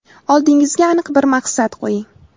Oldingizga aniq bir maqsad qo‘ying.